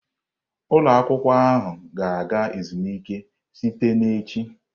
Ụlọ akwụkwọ ahụ ga-aga ezumike site na echi.